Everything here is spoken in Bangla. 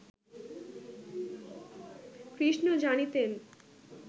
কৃষ্ণ জানিতেন